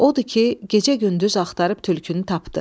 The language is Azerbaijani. Odur ki, gecə-gündüz axtarıb tülkünü tapdı.